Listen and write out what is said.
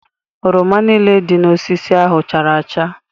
Oroma niile dị n'osisi ahụ chara acha.